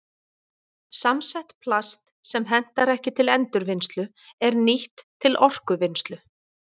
Samsett plast sem hentar ekki til endurvinnslu er nýtt til orkuvinnslu.